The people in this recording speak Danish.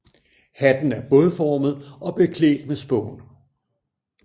Hatten er bådformet og beklædt med spån